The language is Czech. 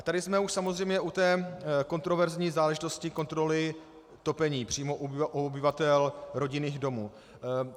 A tady jsme už samozřejmě u té kontroverzní záležitosti kontroly topení přímo u obyvatel rodinných domů.